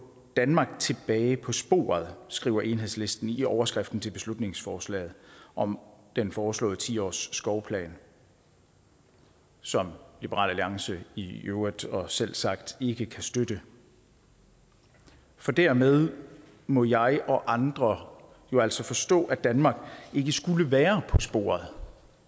danmark tilbage på sporet skriver enhedslisten i overskriften til beslutningsforslaget om den foreslåede ti årsskovplan som liberal alliance i øvrigt og selvsagt ikke kan støtte for dermed må jeg og andre jo altså forstå at danmark ikke skulle være på sporet